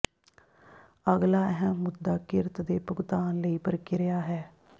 ਅਗਲਾ ਅਹਿਮ ਮੁੱਦਾ ਕਿਰਤ ਦੇ ਭੁਗਤਾਨ ਲਈ ਪ੍ਰਕ੍ਰਿਆ ਹੈ